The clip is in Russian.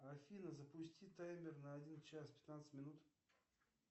афина запусти таймер на один час пятнадцать минут